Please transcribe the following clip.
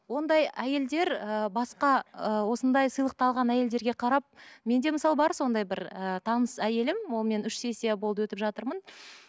ондай әйелдер ыыы басқа ы осындай сыйлықты алған әйелдерге қарап менде мысалы бар сондай бір ы таныс әйелім олмен үш сессия болды өтіп жатырмын